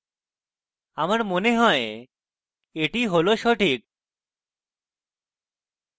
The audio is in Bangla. আমার মনে হয় এটি সঠিক